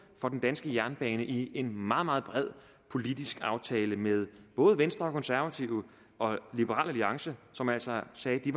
for den danske jernbane i en meget meget bred politisk aftale mellem både venstre og konservative og liberal alliance som altså sagde at de